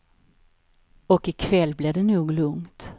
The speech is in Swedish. Och i kväll blir det nog lugnt.